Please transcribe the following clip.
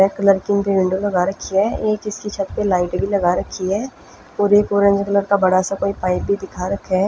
एक लडकी black colour की विंडो लगा राखी है एक इसके छत्त पर लाइट भी लगा रखी है और एक ओरेंज कलर का बड़ा सा पाइप भी दिखा रखा है।